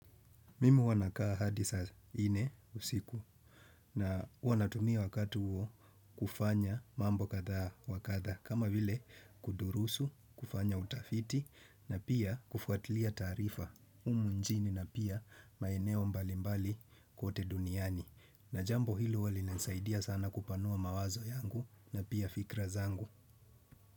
Mimi huwanakaa hadi saa inne usiku, na huwanatumia wakati huo kufanya mambo kadha wa kadha, kama vile kudurusu, kufanya utafiti na pia kufuatilia taarifa humu njini na pia maeneo mbali mbali kote duniani. Na jambo hilo huwa linanisaidia sana kupanua mawazo yangu na pia fikra zangu.